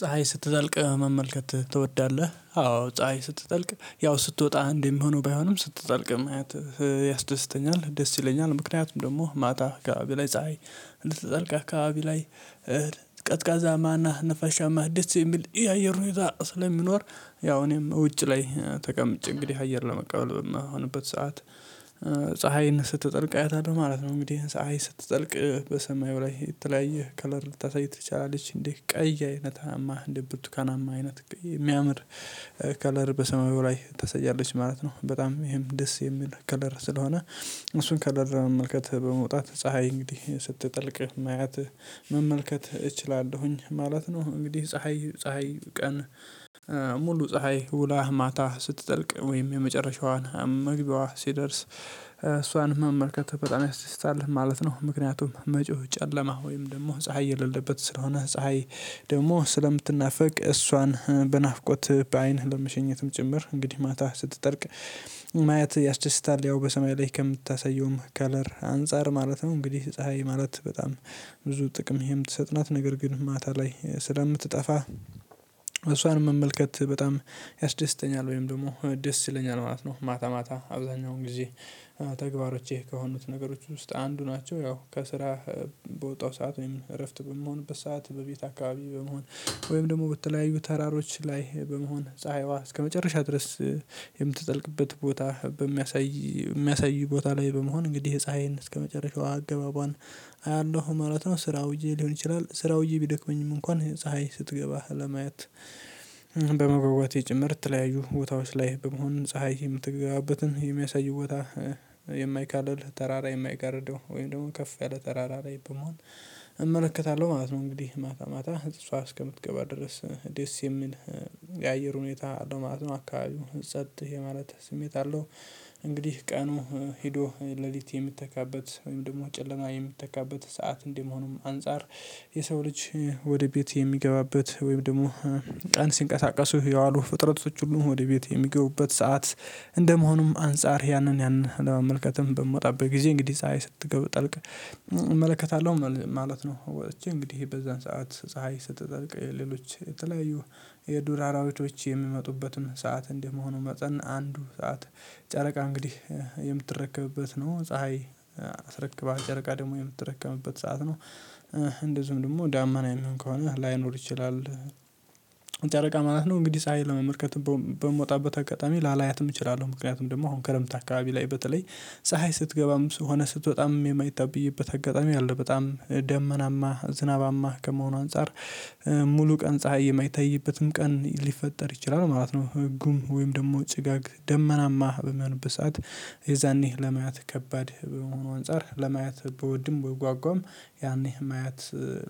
ፀሀይ ስትጠልቅ መመልከት ትወዳለህ? አዎ ፀሀይ ስትጠልቅ ያው ስትወጣ አንደሚሆነው ባይሆንም ስትጠልቅ ማየት ያስደስተኛል ደስ ይለኛል ምክንያቱም ደሞ ማታ አካባቢ ላይ ፀሀይ ልትጠልቅ አካባቢ ላይ ቀዝቃዛማ እና ነፋሻማ ደስ የሚል የአየር ሁኔታ ስለሚኖር ያው እኔም እውጭ ላይ ተቀምጬ እንግዲህ አየር ለመቀበል በምሆንበት ሰዓት ፀሀይን ስትጠልቅ አያታለሁ ማለት ነው። እንግዲህ ፀሀይ ስትጠልቅ በሰማዩ ላይ የተለያየ ከለር ልታሳይት ትችላለች እንግዲህ ቀይ አይነት እንደ ብርቱካናማ አይነት እሚያምር ከለር በሰማዩ ላይ ታሰያለች ማለት ነው። በጣም ይሄም ደስ የሚል ከለር ስለሆነ እሱን ከለር መመልከት በመውጣት ፀሀይ እንግዲህ ስትጠልቅ ማያት መመልከት እችላለሁኝ ማለት ነው። እንግዲህ ፀሀይ ፀሀይ ቀን ሙሉ ፀሀይ ውላ ማታ ስትጠልቅ ወይም የመጨረሻዋን መግቢያዋ ሲደርስ እሷን መመልከት በጣም ያስተሳልፍ ማለት ነው። ምክንያቱም መጪው ጨለማ ወይም ደሞ ፀሀይ የሌለበት ስለሆነ ፀሀይ ደግሞ ስለምትናፈቅ እሷን በናፍቆት በአይን ለመሸኘትም ጭምር እንግዲህ ማታ ስትጠልቅ ማየት ያስደስታል ያው በሰማይ ላይ ከምታሳየውም ከለር አንፃር ማለት ነው። እንግዲህ ፀሀይ ማለት በጣም ብዙ ጥቅም የምትሰጥ ናት ነገር ግን ማታ ላይ ስለምትጠፋ እሷን መመልከት በጣም ያስደስተኛል ወይም ደግሞ ደስ ይለኛል ማለት ነው። ማታ ማታ አብዛኛውን ጊዜ ተግባሮቼ ከሆኑት ነገሮች ውስጥ አንዱ ነው ያው ከስራ በወጣው ሰዓት ወይም እረፍት በምሆንበት ሰዓት በቤት አካባቢ በመሆን ወይም ደሞ በተለያዩ ተራሮች ላይ በመሆን ፀሀይዋ እስከመጨረሻ ድረስ የምትጠልቅበት ቦታ በሚያሳይ እሚያሳይ ቦታ ላይ በመሆን እንግዲህ ፀሀይን እስከመጨረሻው አገባቧን አያለሁ ማለት ነው። ስራ ውየ ሊሆን ይችላል ስራ ውዬ ቢደክመኝም እንኳን ፀሀይ ስትገባ ለማየት በመጓጓቴ ጭምር ተለያዩ ቦታዎች ላይ በመሆን ፀሀይ የምትገባበትን የሚያሳይ ቦታ የማይካልል ተራራ የማይጋርደው ወይም ደሞ ከፍ ያለ ተራራ ላይ በመሆን እመለከታለሁ ማለት ነው። እንግዲህ ማታ ማታ እሷ እስከምትገባ ድረስ ደስ የሚል የአየር ሁኔታ ነው ማለት ነው አካባቢው ጸጥ የማለት ስሜት አለው። እንግዲህ ቀኑ ሄዶ ሌሊት የሚተካበት ወይም ደሞ ጨለማ የሚተካበት ሰዓት እንደመሆኑም አንፃር የሰው ልጅ ወደ ቤት የሚገባበት ወይም ደሞ ቀን ሲንቀሳቀሱ የዋሉ ፍጥረቶች ሁሉ ወደ ቤት የሚገቡበት ሰዓት እንደመሆኑም አንፃር ያንን ያንን ለማመልከትም በምወጣበት ጊዜ እንግዲህ ፀሀይ ስትጠልቅ እመለከታለሁ ማለት ነው። ወጥቼ እንግዲህ በዛን ሰዓት ፀሀይ ስትጠልቅ ሌሎች የተለያዩ የዱራራዎች የሚመጡበትን ሰዓት እንደመሆኑ መጠን አንዱ ሰዓት ጨረቃ እንግዲህ የምትረከብበት ነው ፀሀይ ተረክክባ ጨረቃ ደግሞ የምትረከምበት ሰዓት ነው። እንደዚሁም ደግሞ ዳመና የሚሆን ከሆነ ላይኖር ይችላል ጨረቃ ማለት ነው። እንግዲህ ፀሀይን ለመመርከት በምወጣበት አጋጣሚ ላላያትም እችላለሁ ምክንያቱም ደግሞ አሁን ከረምት አካባቢ ላይ በተለይ ፀሀይ ስትገባም ስሆነ ስትወጣም የማትታይበት አጋጣሚ አለ በጣም ደመናማ ዝናባማ ከመሆኑ አንፃር ሙሉ ቀን ፀሀይ የማይታይበትንም ቀን ሊፈጠር ይችላል ማለት ነው። ህጉም ወይም ደሞ ጭጋግ ደመናማ በሚሆንበት ሰዓት የዛኔ ለማየት ከባድ በመሆኑ አንፃር ለማየት ብወድም ብጓጓም ያኔ ማየት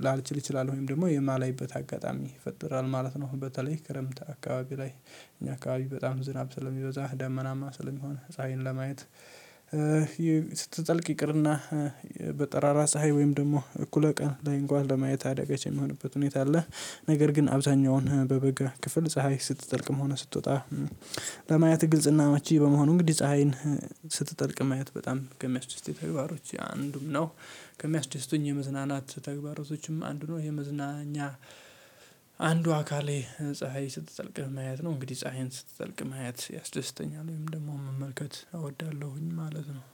ላልችል እችላለሁ ወይም ደግሞ የማላይበት አጋጣሚ ይፈጥራል ማለት ነው። በተለይ ክረምት አካባቢ ላይ እኛ አካባቢ በጣም ዝናብ ስለሚበዛ ደመናማ ስለሚሆን ፀሀይን ለማየት ስትጠልቅ ይቅርና በጠራራ ፀሀይ ወይም ደሞ እኩለ ቀን ላይ እንኳን ለማየት አዳጋች የሚሆንበት ሁኔታ አለ። ነገር ግን አብዛኛውን በበጋ ክፍል ፀሀይ ስትጠልቅም ሆነ ስትወጣ ለማየት ግልጽና አመቺ በመሆኑ እንግዲህ ፀሀይን ስትጠልቅ ማየት በጣም ከሚያስደስተኝ ተግባሮች አንዱም ነው። ከሚያስደስቱኝ የመዝናናት ተግባሮቶችም አንዱ ነው የመዝናኛ አንዱ አካሌ ፀሀይ ስትጠልቅ ማየት ነው። እንግዲህ ፀሀይን ስትጠልቅ ማየት ያስደስተኛል ወይም ደግሞ መመልከት እወዳለሁኝ ማለት ነው።